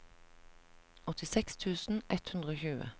åttiseks tusen ett hundre og tjue